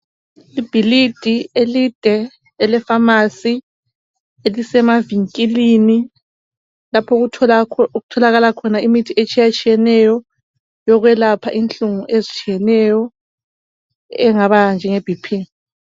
Ibhilidi elide elefamasi, elisemavinkilini lapho okutholakala khona imithi etshiyetshiyeneyo, yokwelapha inhlungu ezitshiyeneyo njengeBP.